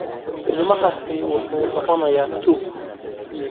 Ilmahaasi wuxuu noqonayaa tuug.